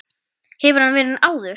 Hefur hann verið áður?